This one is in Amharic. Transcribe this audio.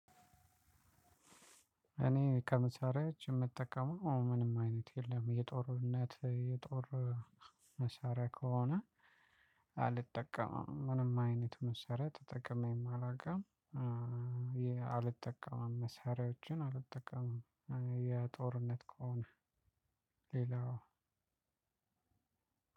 እኔ ከመሳሪያዎች ምጠቀመው ምንም አይነት የለም የጦርነት የጦር መሳሪያ ከሆነ አልጠቀምም ምንም አይነት መሳሪያ ተጠቅሜ አላውቅም። አልጠቀምም መሳሪያዎችን አልተጠቀምም የጦርነት ከሆነ ሌላው